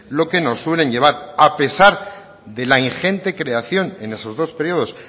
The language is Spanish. lo que nos suelen llevar a pesar de la ingente creación en esos dos períodos